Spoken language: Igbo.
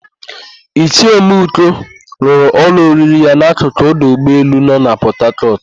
Ichie Ọmenụkọ lụrụ ụlọ oriri ya n'akụkụ ọdụ ụgbọelu no na Pọtakọtụ.